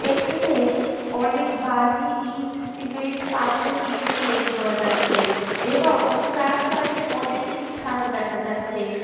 এখানে অনেক বালি ইট সিমেন্ট পাথর ইত্যাদি দেখতে পাওয়া যাচ্ছে এবং চার সাইড এ অনেকগুলি থাম দেখা যাচ্ছে।